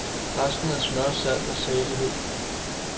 Resten er smør, salt og salighed.